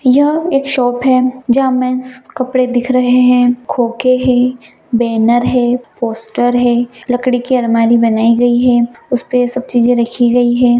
''यह एक शॉप है जहाँ मेंस कपड़े दिख रहे है खोखे है बैनर है पोस्टर है लकड़ी के आलमारी बनाई गई है उसपे ये सब चीजें रखी गई है।''